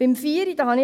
Zum Punkt 4: